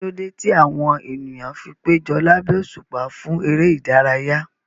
Kí ló dé tí àwọn ènìyàn fi péjọ lábẹ́ òṣùpá fún eré ìdárayá?